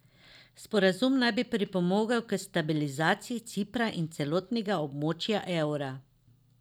Sporazum naj bi pripomogel k stabilizaciji Cipra in celotnega območja evra.